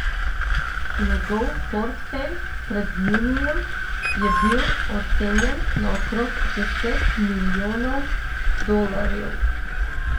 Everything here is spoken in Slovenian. Njegov portfelj pred junijem je bil ocenjen na okrog deset milijonov dolarjev.